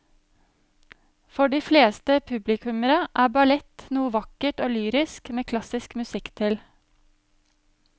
For de fleste publikummere er ballett noe vakkert og lyrisk med klassisk musikk til.